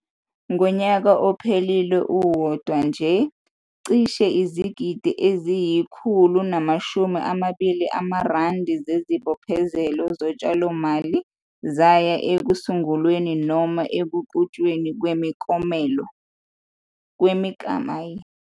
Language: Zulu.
Ngonyaka ophelile uwodwa nje, cishe izigidigidi eziyi-R120 zezibophezelo zotshalomali zaya ekusungulweni noma ekuqhutshweni kwemiklamo.